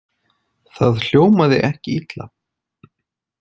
Það hljómaði ekki illa.